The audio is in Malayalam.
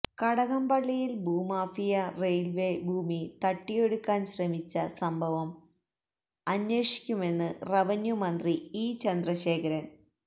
കടകംപള്ളിയില് ഭൂമാഫിയ റെയില്വെ ഭൂമി തട്ടിയെടുക്കാന് ശ്രമിച്ച സംഭവം അന്വേഷിക്കുമെന്ന് റവന്യു മന്ത്രി ഇ ചന്ദ്രശേഖരന്